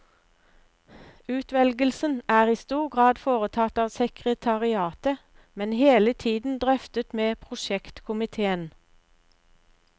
Utvelgelsen er i stor grad foretatt av sekretariatet, men hele tiden drøftet med prosjektkomiteen.